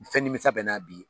Fɛn nimisa bɛ n na bi